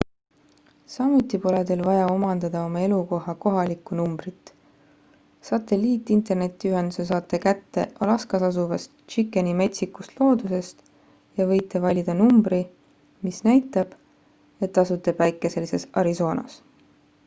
samuti pole teil vaja omandada oma elukoha kohalikku numbrit satelliit-internetiühenduse saate kätte alaskas asuvast chickeni metsikust loodusest ja võite valida numbri mis näitab et asute päikeselises arizonas